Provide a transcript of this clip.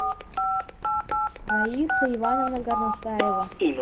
раиса ивановна горностаева